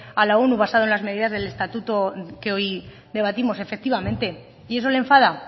a la onu basado en las medidas del estatuto que hoy debatimos efectivamente y eso le enfada